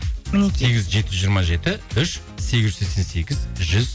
мінекей сегіз жүз жеті жүз жиырма жеті үш сегіз жүз сексен сегіз жүз